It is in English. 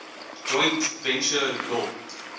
joint venture law